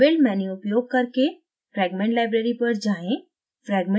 build menu उपयोग करके fragment library पर जाएँ